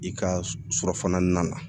I ka surafana na